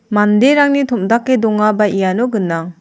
manderangni tom·dake dongaba iano gnang.